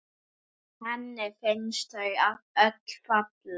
Henni finnst þau öll falleg.